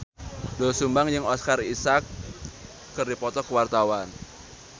Doel Sumbang jeung Oscar Isaac keur dipoto ku wartawan